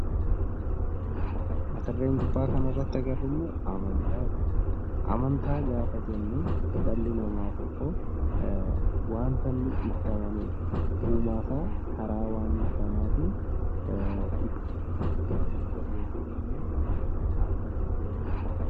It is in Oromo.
Amnataa gaafa jennu dhalli namaa wanta inni itti amanee uumaasaa karaa wanta sanaatiin galateeffatuu fi waaqeffatudha.